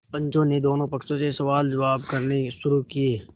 पंचों ने दोनों पक्षों से सवालजवाब करने शुरू किये